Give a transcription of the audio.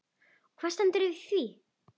Og hvað stendur í því?